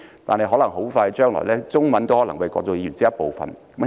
但在不久將來，中文都可能會是國際語言的一部分。